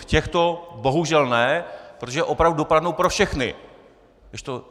V těchto bohužel ne, protože opravdu dopadnou pro všechny.